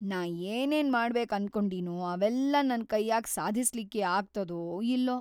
ನಾ ಏನೇನ್‌ ಮಾಡ್ಬೇಕ್ ಅನ್ಕೊಂಡಿನೊ ಅವೆಲ್ಲಾ ನನ್‌ ಕೈಯಾಗ್ ಸಾಧಸ್ಲಿಕ್ಕಿ ಆಗ್ತದೊ ಇಲ್ಲೊ‌.